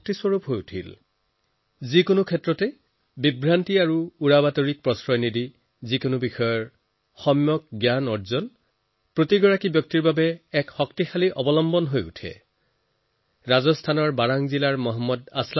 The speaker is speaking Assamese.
ক্ষেত্ৰ যিয়েই নহওক সকলো ধৰণৰ ভ্ৰম আৰু উৰাবাতৰিৰ পৰা আঁতৰি সঠিক জ্ঞান সকলো লোকৰ বাবে সম্বল হৈ পৰে